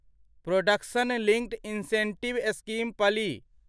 production linked incentive scheme पलि